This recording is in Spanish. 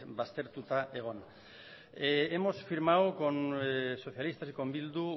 baztertuta egon hemos firmado con socialistas y con bildu